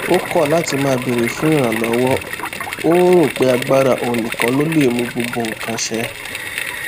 ó kọ láti má béèrè fún ìrànlówó ó rò pé agbára òun nìkan ló lè mú gbogbo nǹkan ṣẹ